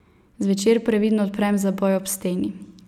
Zvečer previdno odprem zaboj ob steni.